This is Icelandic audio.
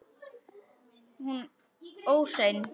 Hún óhrein.